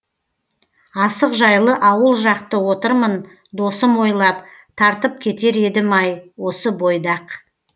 асық жайлы ауыл жақты отырмын досым ойлап тартып кетер едім ай осы бойда ақ